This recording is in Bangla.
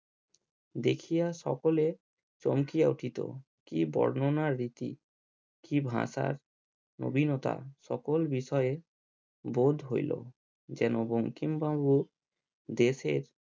দেখিয়া সকলে চমকিয়া উঠিত কি বর্ণনার রীতি কি ভাষার নবীনতা সকল বিষয়ে বোধ হইলো যেন বঙ্কিমবাবু দেশের